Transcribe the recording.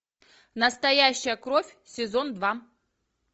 настоящая кровь сезон два